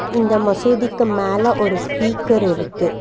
இந்த மசூதிக்கு மேல ஒரு ஸ்பீக்கர் இருக்கு.